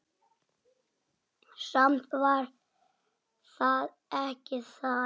Samt var það ekki það.